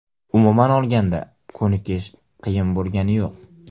Umuman olganda ko‘nikish qiyin bo‘lgani yo‘q.